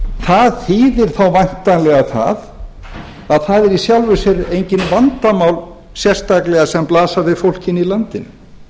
það þýðir þá væntanlega það að það eru í sjálfu sér engin vandamál sérstaklega sem blasa við fólkinu í landinu